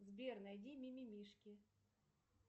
сбер найди мимимишки